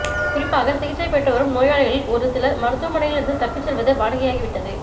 குறிப்பாக சிகிச்சை பெற்று வரும் நோயாளிகளில் ஒரு சிலர் மருத்துவமனையில் இருந்து தப்பிச் செல்வது வாடிக்கையாகிவிட்டது